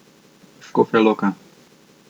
Škofja Loka.